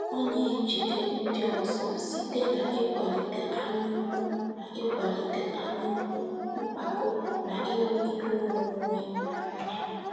Ọ na-ejide ndị ọzọ site n’ịkwalite anyaukwu n’ịkwalite anyaukwu, mpako, na ịhụ ihe onwunwe n’anya.